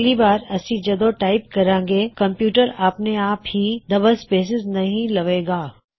ਅੱਗਲੀ ਵਾਰ ਅਸੀ ਜਦੋ ਟਾਇਪ ਕਰਾਂਗੇ ਕਮਪਯੂਟਰ ਆਪਣੇ ਆਪ ਹੀ ਡਅੱਬਲ ਸਪੇਇਸਸ ਨਹੀ ਲਵੇ ਗਾ